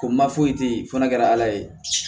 Ko n ma foyi te yen f'a kɛra ala ye